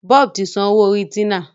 Bob tí sàn owó Orí Tina